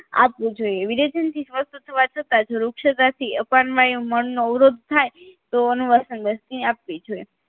આપવું જોઈએ વિરેચનથી થવા છતાં જો રૂક્ષતાથી અપણવાયે મળનો અવરોધ થાય તો અનુવાસની બસ્તી આપવી જોઈએ